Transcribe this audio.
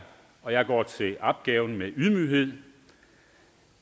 og jeg går til opgaven med ydmyghed